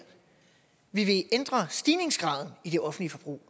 vi vil ændre stigningsgraden i det offentlige forbrug